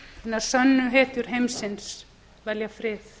hinar sönnu hetjur heimsins velja frið